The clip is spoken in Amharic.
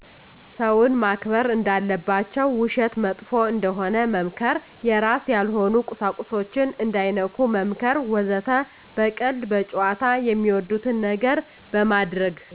ሰውን ማክበር እንዳለባቸው ውሸት መጥፎ እንደሆነ መምከር የራስ ያልሆኑ ቁሳቁሶችን እንዳይነኩ መምከር ወዘተ። በቀልድ፣ በጨዋታ፣ ሚወዱትን ነገር በማድርግ